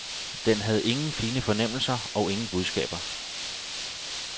Den havde ingen fine fornemmelser og ingen budskaber.